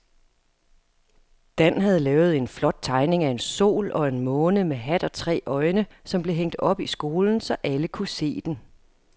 Dan havde lavet en flot tegning af en sol og en måne med hat og tre øjne, som blev hængt op i skolen, så alle kunne se den.